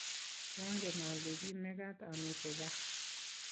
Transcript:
kiangen ale ki mekat amite gaa